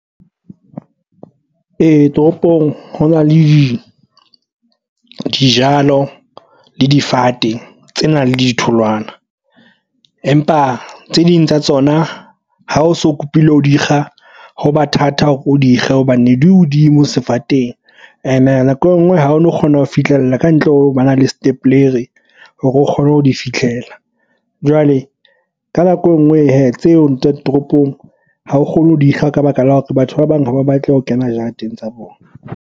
Toropong ho na le dijalo le difate tse nang le ditholwana empa tse ding tsa tsona ha o so kopile ho di kga ho ba thata hore o dikge hobane di hodimo sefateng ene nako engwe ha o no kgona ho fihlella kantle ho ba na le step hore o kgone ho di fihlela jwale ka nako engwe hee tseo tsa di toropong ha o kgone ho dikga ka baka la hore batho ba bang ha ba batle ho kena jareteng tsa bona.